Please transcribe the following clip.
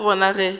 ga se gona ge a